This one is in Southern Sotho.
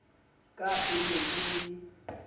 ka e ne e le